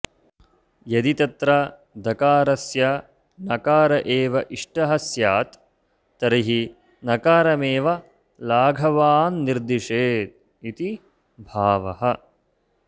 यदि तत्र दकारस्य नकार एव इष्टः स्यात्तर्हि नकारमेव लाघवान्निर्दिशेदिति भावः